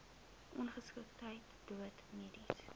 ongeskiktheid dood mediese